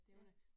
Ja